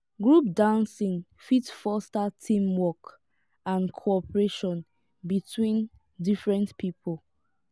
group dancing fit foster team work and cooperation between different pipo